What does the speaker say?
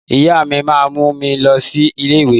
Ìyá mi máa mú mi lọ sí ilé ìwé.